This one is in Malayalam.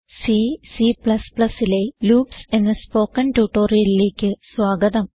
സി C ലെ ലൂപ്സ് എന്ന സ്പോകെൻ ട്യൂട്ടോറിയലിലേക്ക് സ്വാഗതം